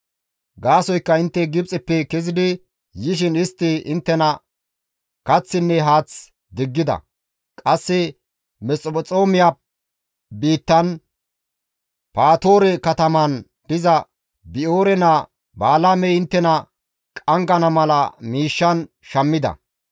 Gaasoykka intte Gibxeppe kezidi yishin istti inttena kaththinne haath diggida; qasse Mesphexoomiya biittan Patoore katamaan diza Bi7oore naa Balaamey inttena qanggana mala miishshan shammida.